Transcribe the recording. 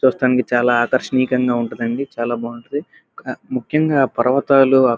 చూడ్డానికి చానా ఆకర్షియంగా ఉంటుంది. అండి చాలా బాగుంటుంది. ముఖ్యంగా పర్వతాలు --